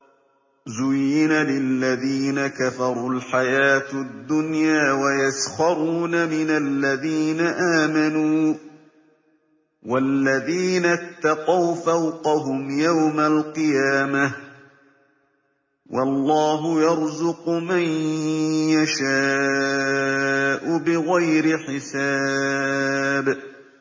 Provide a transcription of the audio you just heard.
زُيِّنَ لِلَّذِينَ كَفَرُوا الْحَيَاةُ الدُّنْيَا وَيَسْخَرُونَ مِنَ الَّذِينَ آمَنُوا ۘ وَالَّذِينَ اتَّقَوْا فَوْقَهُمْ يَوْمَ الْقِيَامَةِ ۗ وَاللَّهُ يَرْزُقُ مَن يَشَاءُ بِغَيْرِ حِسَابٍ